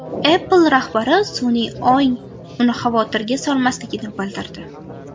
Apple rahbari sun’iy ong uni xavotirga solmasligini bildirdi.